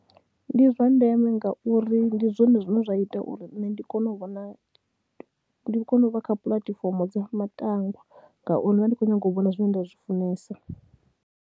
Ndi zwa ndeme ngauri ndi zwone zwine zwa ita uri nṋe ndi kone u vhona, ndi kone u vha kha puḽatifomo dza matangwa ngauri ndi vha ndi khou nyaga u vhona zwine nda zwi funesa.